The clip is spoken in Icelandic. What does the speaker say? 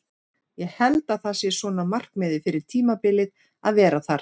Ég held að það sé svona markmiðið fyrir tímabilið að vera þar.